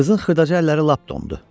Qızın xırdaca əlləri lap dondu.